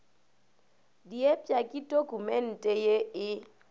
diepša ke dokumente ye e